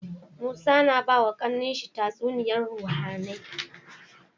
Musa yAna bawa kAnan shi tatsuniyar ruhAnai